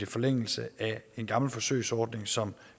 forlængelse af en gammel forsøgsordning som